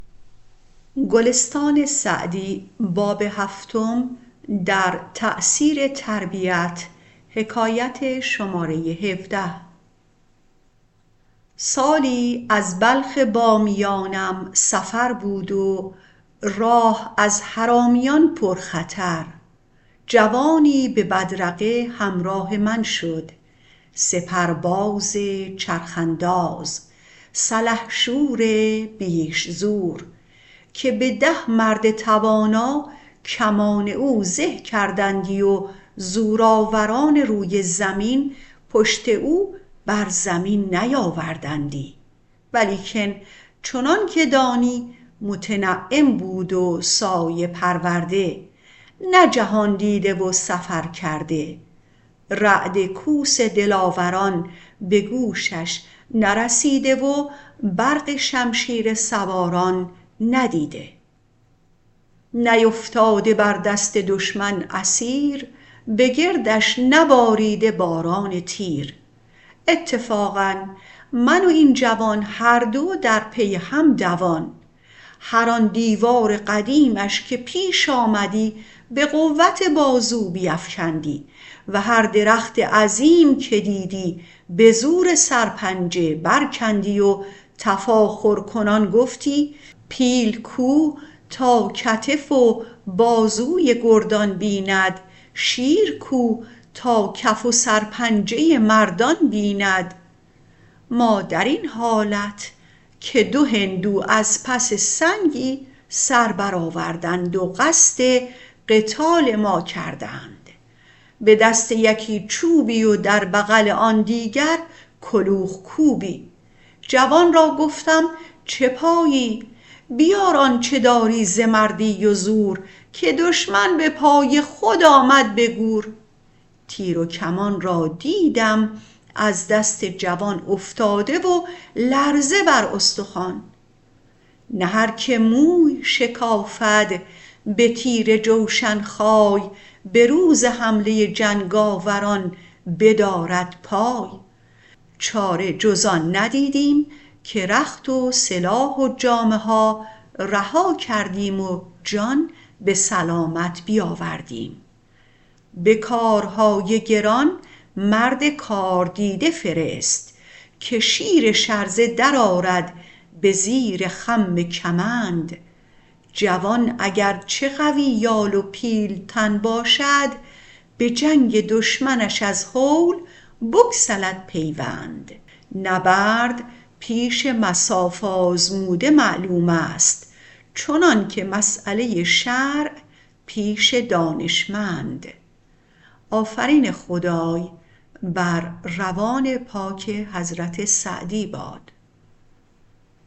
سالی از بلخ بامیانم سفر بود و راه از حرامیان پر خطر جوانی به بدرقه همراه من شد سپرباز چرخ انداز سلحشور بیش زور که به ده مرد توانا کمان او زه کردندی و زورآوران روی زمین پشت او بر زمین نیاوردندی ولیکن چنان که دانی متنعم بود و سایه پرورده نه جهاندیده و سفر کرده رعد کوس دلاوران به گوشش نرسیده و برق شمشیر سواران ندیده نیفتاده بر دست دشمن اسیر به گردش نباریده باران تیر اتفاقا من و این جوان هر دو در پی هم دوان هر آن دیوار قدیمش که پیش آمدی به قوت بازو بیفکندی و هر درخت عظیم که دیدی به زور سرپنجه بر کندی و تفاخرکنان گفتی پیل کو تا کتف و بازوی گردان بیند شیر کو تا کف و سر پنجه مردان بیند ما در این حالت که دو هندو از پس سنگی سر بر آوردند و قصد قتال ما کردند به دست یکی چوبی و در بغل آن دیگر کلوخ کوبی جوان را گفتم چه پایی بیار آنچه داری ز مردی و زور که دشمن به پای خود آمد به گور تیر و کمان را دیدم از دست جوان افتاده و لرزه بر استخوان نه هر که موی شکافد به تیر جوشن خای به روز حمله جنگاوران بدارد پای چاره جز آن ندیدیم که رخت و سلاح و جامه ها رها کردیم و جان به سلامت بیاوردیم به کارهای گران مرد کاردیده فرست که شیر شرزه در آرد به زیر خم کمند جوان اگر چه قوی یال و پیلتن باشد به جنگ دشمنش از هول بگسلد پیوند نبرد پیش مصاف آزموده معلوم است چنان که مسأله شرع پیش دانشمند